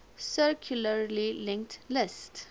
circularly linked list